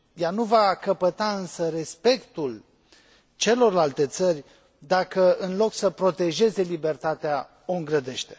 Ea nu va căpăta însă respectul celorlalte țări dacă, în loc să protejeze libertatea, o îngrădește.